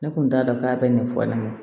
Ne kun t'a dɔn k'a bɛ nin fɔ ne ɲɛna